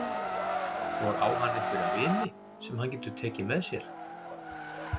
Og á hann einhverja vini sem hann getur tekið með sér?